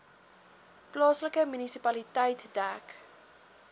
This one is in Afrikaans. plaaslike munisipaliteit dek